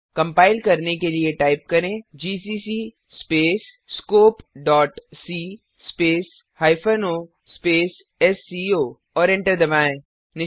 compile करने के लिए टाइप करें जीसीसी स्पेस scopeसी space hyphen O space SCO और एंटर दबाएँ